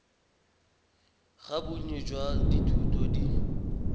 ga bonnye jwa dithuto di